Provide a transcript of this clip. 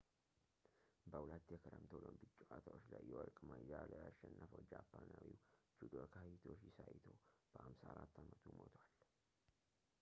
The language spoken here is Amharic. በሁለት የክረምት ኦሎምፒክ ጨዋታዎች ላይ የወርቅ ሜዳልያ ያሸነፈው ጃፓናዊው judoka hitoshi saito በ54 አመቱ ሞቷል